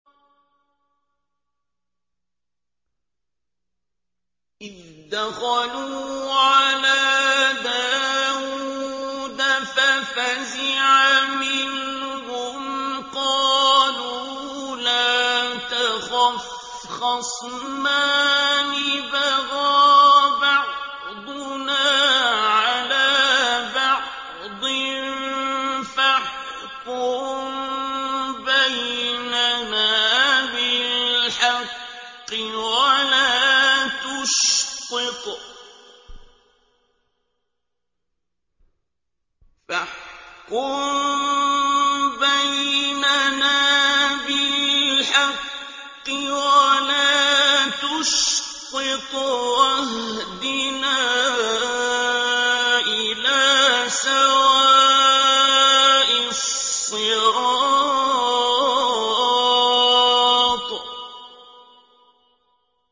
إِذْ دَخَلُوا عَلَىٰ دَاوُودَ فَفَزِعَ مِنْهُمْ ۖ قَالُوا لَا تَخَفْ ۖ خَصْمَانِ بَغَىٰ بَعْضُنَا عَلَىٰ بَعْضٍ فَاحْكُم بَيْنَنَا بِالْحَقِّ وَلَا تُشْطِطْ وَاهْدِنَا إِلَىٰ سَوَاءِ الصِّرَاطِ